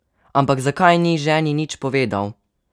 Ampak zakaj ni ženi nič povedal?